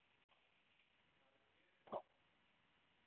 Það gerist oft.